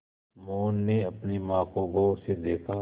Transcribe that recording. मोहन ने अपनी माँ को गौर से देखा